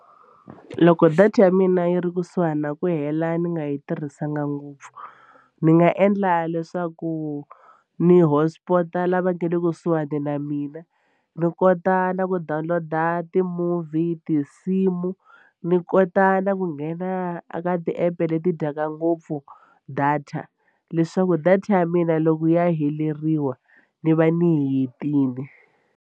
Loko data ya mina yi ri kusuhani na ku hela ni nga yi tirhisanga ngopfu ni nga endla leswaku ni hotspot-a lava nge le kusuhani na mina ni kota na ku download-a ti-movie tinsimu ni kota na ku nghena a ka ti-app leti dyaka ngopfu data leswaku data ya mina loko ya heleriwa ni va ni yi hetile.